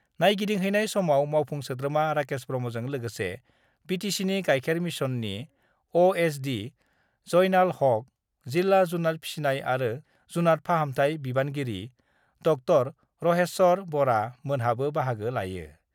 नायगिदिंहैनाय समाव मावफुं सोद्रोमा राकेश ब्रह्मजों लोगोसे बिटिसिनि गायखेर मिसननि अएसडि जयनाल हक, जिल्ला जुनात फिसिनाय आरो जुनात फाहामथाय बिबानगिरि ड० रहेस्वर बरा मोनहाबो बाहागो लायो।